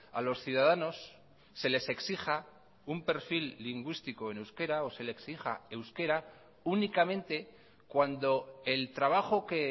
a los ciudadanos se les exija un perfil lingüístico en euskera o se le exija euskera únicamente cuando el trabajo que